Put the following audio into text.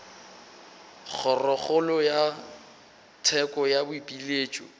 kgorokgolo ya tsheko ya boipiletšo